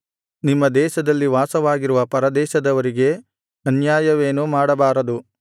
ನಿಮ್ಮ ದೇಶದಲ್ಲಿ ವಾಸವಾಗಿರುವ ಪರದೇಶದವರಿಗೆ ಅನ್ಯಾಯವೇನೂ ಮಾಡಬಾರದು